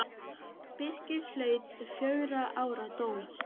Birkir hlaut fjögurra ára dóm.